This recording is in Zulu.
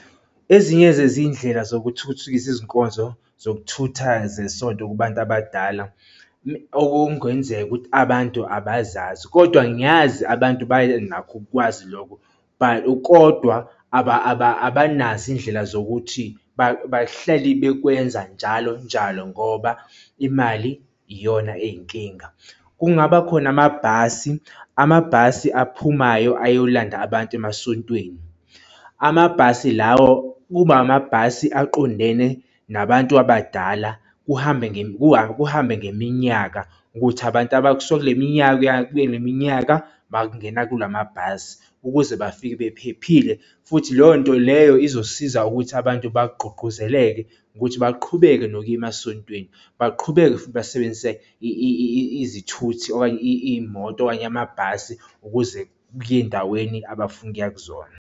Ezinye zezindlela zokuthuthukisa izinkonzo zokuthutha zesonto kubantu abadala, okungenzeka ukuthi abantu abazazi, kodwa ngiyazi abantu banakho ukukwazi lokho, but, kodwa abanazo iy'ndlela zokuthi bahleli bekwenza njalo njalo ngoba imali iyona ey'nkinga. Kungaba khona amabhasi, amabhasi aphumayo ayolanda abantu emasontweni. Amabhasi lawo kuba amabhasi aqondene nabantu abadala kuhambe kuhambe ngeminyaka ukuthi abantu abasuke kule minyaka kuya kule minyaka bangena kulamabhasi ukuze bafike bephephile. Futhi leyo nto leyo izosiza ukuthi abantu bagqugquzeleke ukuthi baqhubeke nokuya emasontweni baqhubeke futhi basebenzise izithuthi okanye iy'moto okanye amabhasi ukuze kuye ey'ndaweni abafuna ukuya kuzona.